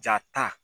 Jaa ta